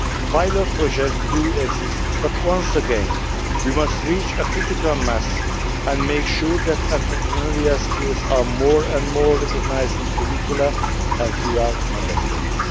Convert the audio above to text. Pilot projects exist but, once again, we must reach a critical mass and make sure that entrepreneurial skills are increasingly recognised in curricula and throughout Member States.